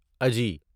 اجی